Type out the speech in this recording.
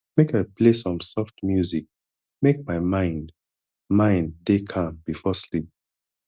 make i play some soft music make my mind mind dey calm before sleep